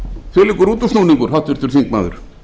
gera þvílíkur útúrsnúningur háttvirtur þingmaður